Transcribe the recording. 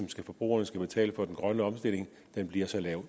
forbrugerne skal betale for den grønne omstilling bliver så lav